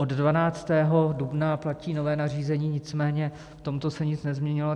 Od 12. dubna platí nové nařízení, nicméně v tomto se nic nezměnilo.